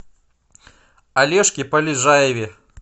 олежке полежаеве